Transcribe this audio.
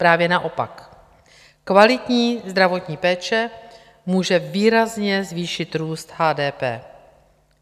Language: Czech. Právě naopak, kvalitní zdravotní péče může výrazně zvýšit růst HDP.